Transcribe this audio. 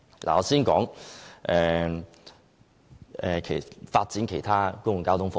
我先說發展其他公共交通服務。